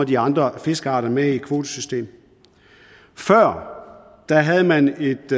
de andre fiskearter med i kvotesystemet før havde man et